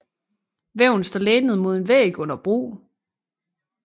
Væven står lænet mod en væg under brug